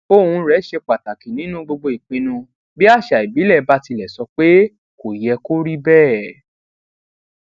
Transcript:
ohùn rè ṣe pàtàkì nínú gbogbo ìpinnu bí àṣà ìbílè bá tilẹ sọ pé kó yẹ kó rí béè